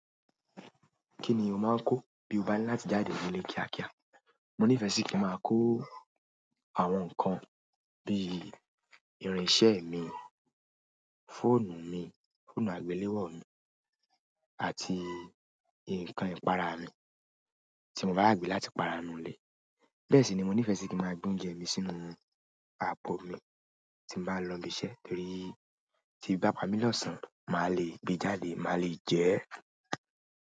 Kíni o máà ń kò ti bá ni láti jáde nínú ilé kíákíá. Mo nífẹ́ sì kí n máa kó àwọn nǹkan bí irinṣẹ́ mi, fóònù mi, fóònù àgbéléwò mi àti nǹkan ìpara mi tí mo bá rà gbé láti para nu ilé. Bẹ́ẹ̀ sì ni mo nífẹ́ sì kí máa gbé oúnjẹ mi sínú àpò mi tí n bá lọ ibiṣẹ́ torí tí ebi bá pa mí lọ́sàn máa le gbé e jáde máa le jẹ ẹ́.